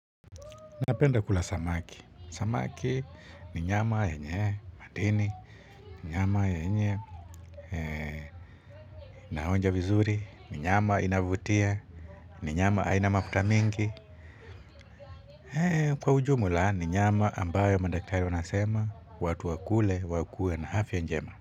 Napenda kula samaki. Samaki ni nyama yenye madini, ni nyama yenye naonja vizuri, ni nyama inavutia, ni nyama haina mafuta mingi. Kwa ujumla, ni nyama ambayo madaktari wanasema, watu wakule, wakue na afya njema.